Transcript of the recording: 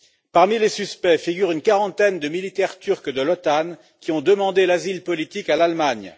Parmi les suspects figurent une quarantaine de militaires turcs de l'OTAN qui ont demandé l'asile politique à l'Allemagne.